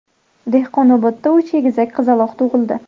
Dehqonobodda uch egizak qizaloq tug‘ildi.